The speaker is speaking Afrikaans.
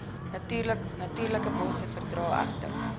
natuurlikebosse verdra egter